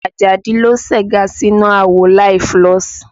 Àjàdí ló segá sínú àwo láì fúlọ̀sì